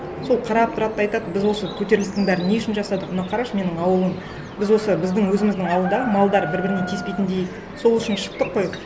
сол қарап тұрады да айтады біз осы көтерілістің бәрін не үшін жасадық мынау қарашы менің ауылым біз осы біздің өзіміздің ауылда малдар бір біріне тиіспейтіндей сол үшін шықтық қой